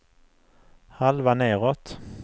halva nedåt